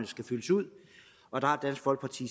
skal fyldes ud og der har dansk folkeparti